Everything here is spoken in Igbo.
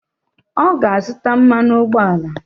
Ọ ga-azụta mmanụ ụgbọala.